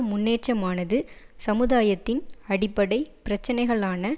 முன்னேற்றமானது சமுதாயத்தின் அடிப்படை பிரச்சனைகளான